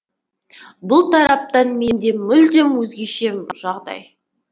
бұл тараптан менде мүлдем өзгеше жағдай